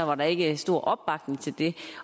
var der ikke stor opbakning til det